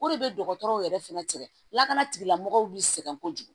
O de bɛ dɔgɔtɔrɔw yɛrɛ fɛnɛ sɛgɛn lakana tigilamɔgɔw b'i sɛgɛn kojugu